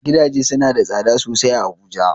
Gidaje suna da tsada sosai a Abuja.